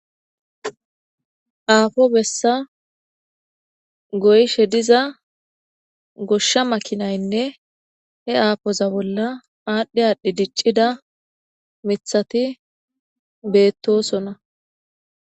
afo bessa goyshshe diiza goshsha makinaynne he afoza bolla adhdhi adhdhi dicidda miththatti bettossona